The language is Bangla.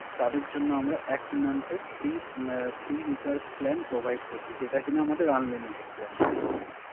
তাদের জন্য আমরা Month এর ফ্রি Recharge plan provide করছি, যেটা কিনা আমাদের Unlimited plan